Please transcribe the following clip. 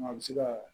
A bɛ se ka